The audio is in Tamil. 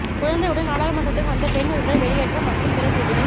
குழந்தையுடன் நாடாளுமன்றத்துக்கு வந்த பெண் உறுப்பினர் வெளியேற்றம் மற்றும் பிற செய்திகள்